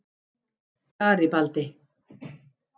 Garibaldi